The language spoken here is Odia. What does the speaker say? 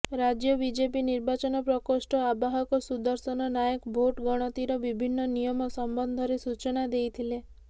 ରାଜ୍ୟ ବିଜେପି ନିର୍ବାଚନ ପ୍ରକୋଷ୍ଠ ଆବାହକ ସୁଦର୍ଶନ ନାୟକ ଭୋଟ୍ ଗଣତିର ବିଭିନ୍ନ ନିୟମ ସମ୍ବନ୍ଧରେ ସୂଚନା ଦେଇଥିଲେ